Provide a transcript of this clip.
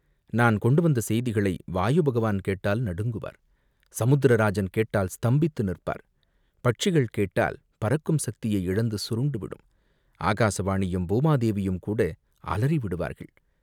நான் கொண்டுவந்த செய்திகளை வாயு பகவான் கேட்டால் நடுங்குவார், சமுத்திர ராஜன் கேட்டால் ஸ்தம்பித்து நிற்பார், பட்சிகள் கேட்டால் பறக்கும் சக்தியை இழந்து சுருண்டுவிடும், ஆகாசவாணியும், பூமா தேவியுங்கூட அலறிவிடுவார்கள்.